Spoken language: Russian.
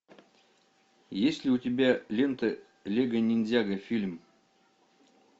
есть ли у тебя лента лего ниндзяго фильм